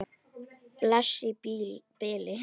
Bless í bili!